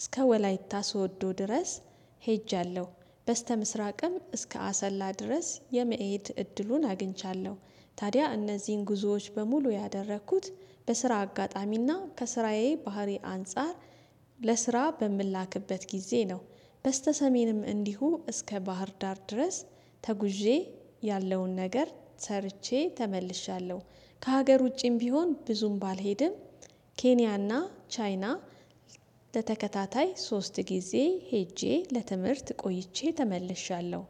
እስከ ወላይታ ሶዶ ድረስ ሄጃለሁ። በስተምስራቅም እስከ አሰላ ድረስ የመሄድ እድሉን አግኝቻለሁ። ታዲያ እነዚህን ጉዞዎች በሙሉ ያደረኩት በስራ አጋጣሚና ከስራዬ ባህሪ አንፃር ለስራ በምላክበት ጊዜ ነው። በስተሰሜንም እንዲሁ እስከ ባህር ዳር ድረስ ተጉዤ ያለውን ነገር ሰርቼ ተመልሻለሁ። ከሀገር ውጪም ቢሆን ብዙም ባልሄድም። ኬንያና ቻይና ለተከታታይ ሶስት ጊዜ ሄጄ ለትምህርት ቆይቼ ተመልሻለሁ